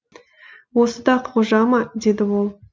осы да қожа ма деді ол